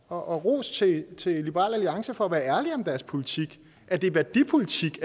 og ros til til liberal alliance for at være ærlige om deres politik at det er værdipolitik